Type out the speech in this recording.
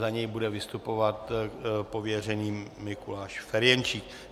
Za něj bude vystupovat pověřený Mikuláš Ferjenčík.